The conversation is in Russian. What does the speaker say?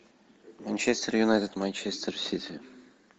манчестер юнайтед манчестер сити